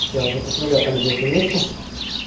я уже посмотрел там где это место